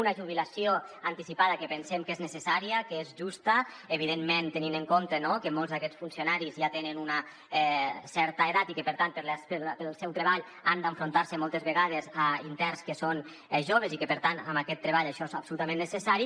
una jubilació anticipada que pensem que és necessària que és justa evidentment tenint en compte que molts d’aquests funcionaris ja tenen una certa edat i que per tant pel seu treball han d’enfrontar se moltes vegades a interns que són joves i que per tant amb aquest treball això és absolutament necessari